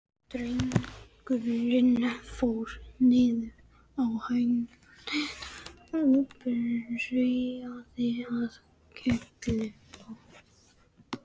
Drengurinn fór niður á hnén og byrjaði að klippa.